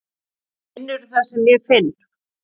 Finnurðu það sem ég finn?